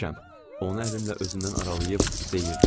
Onu əlimlə özümdən aralayıb deyirdim.